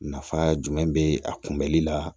Nafa jumɛn be a kunbɛli la